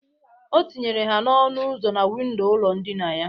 O tinyere ha n'ọnụ uzo na windo ụlọ ndịna ya.